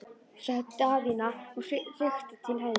sagði Daðína og rykkti til höfðinu.